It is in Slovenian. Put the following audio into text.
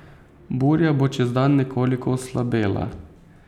Burja bo čez dan nekoliko oslabela.